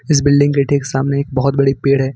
इस बिल्डिंग के ठीक सामने एक बहुत बड़ी पेड़ है।